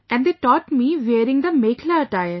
And they taught me wearing the 'Mekhla' attire